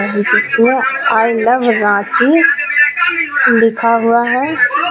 जिसमें I love Ranchi लिखा हुआ है.